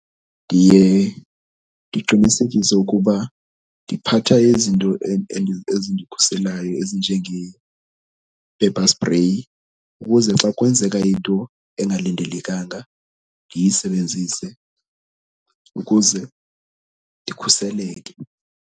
Ndiye ndiqinisekise ukuba ndiphatha izinto ezindikhuselayo ezinjenge-pepper spray ukuze xa kwenzeka into engalindelekanga ndiyisebenzise ukuze ndikhuseleke.